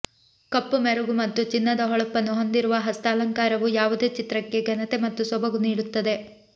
ಕಪ್ಪು ಮೆರುಗು ಮತ್ತು ಚಿನ್ನದ ಹೊಳಪನ್ನು ಹೊಂದಿರುವ ಹಸ್ತಾಲಂಕಾರವು ಯಾವುದೇ ಚಿತ್ರಕ್ಕೆ ಘನತೆ ಮತ್ತು ಸೊಬಗು ನೀಡುತ್ತದೆ